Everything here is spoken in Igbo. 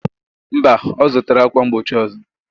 Mba, ọzụtala akwa mgbochi ụzọ.